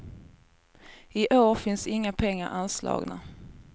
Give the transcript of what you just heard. I år finns inga pengar anslagna.